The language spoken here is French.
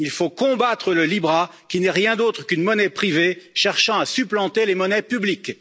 Il faut combattre le libra qui n'est rien d'autre qu'une monnaie privée cherchant à supplanter les monnaies publiques.